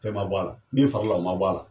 Fɛn ma bɔ ala min farala o ma bo ala